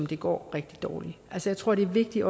det går rigtig dårligt jeg tror det er vigtigt